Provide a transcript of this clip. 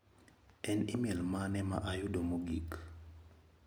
En imel mane ma ayudo mogik?